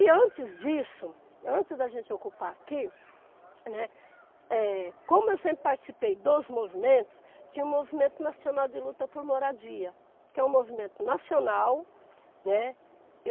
E antes disso, antes da gente ocupar aqui, né, como eu sempre participei dos movimentos, tinha o Movimento Nacional de Luta por Moradia, que é um movimento nacional, né.